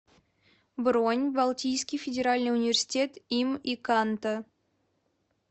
бронь балтийский федеральный университет им и канта